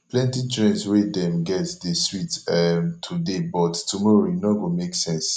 plenty trends wey dem get dey sweet um today but tomorrow e no go make sense